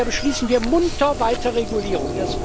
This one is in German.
Und da beschließen wir munter weiter Regulierung.